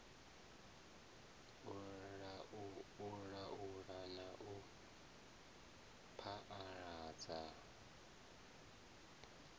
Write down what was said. u laula na u phaaladza